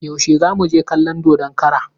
Yaushe za mu je kallon dodon kara?